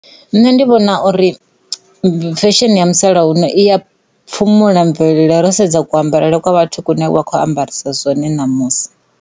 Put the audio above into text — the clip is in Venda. Nṋe ndi vhona uri fesheni ya musalauno i ya phumula mvelelo ro dedza ku ambarele kwa vhathu kune vha kho ambarisa zwone namusi.